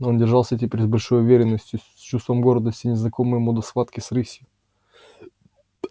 но он держался теперь с большей уверенностью с чувством гордости незнакомой ему до схватки с рысью